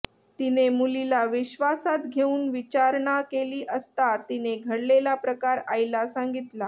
तिने मुलीला विश्वासात घेऊन विचारणा केली असता तिने घडलेला प्रकार आईला सांगितला